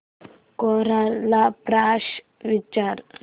कोरा ला प्रश्न विचार